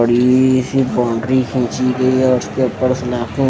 बड़ी ही बाउंड्री खींची गई है --